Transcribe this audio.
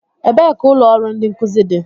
Ebee ka ụlọ ọrụ ndi nkuzi dị?